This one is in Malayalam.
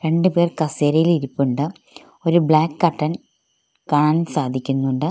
രണ്ട് പേർ കസേരയിൽ ഇരിപ്പുണ്ട് ഒരു ബ്ലാക്ക് കർട്ടൻ കാണാൻ സാധിക്കുന്നുണ്ട്.